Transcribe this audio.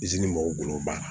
mɔgɔw bolo ban